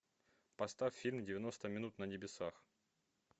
поставь фильм девяносто минут на небесах